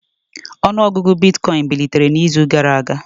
Ọnụ ọgụgụ bitcoin bilitere n'izu gara aga